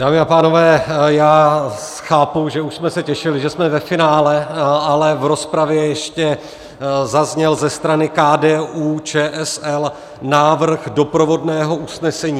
Dámy a pánové, já chápu, že už jsme se těšili, že jsme ve finále, ale v rozpravě ještě zazněl ze strany KDU-ČSL návrh doprovodného usnesení.